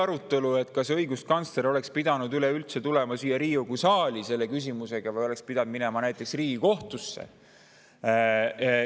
Üks oli see, kas õiguskantsler oleks pidanud üleüldse tulema siia Riigikogu saali selle küsimusega või oleks pidanud ta minema näiteks Riigikohtusse.